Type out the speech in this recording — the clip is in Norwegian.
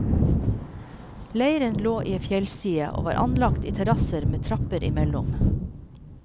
Leiren lå i ei fjellside, og var anlagt i terrasser med trapper imellom.